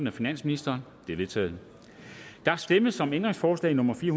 af finansministeren de er vedtaget der stemmes om ændringsforslag nummer fire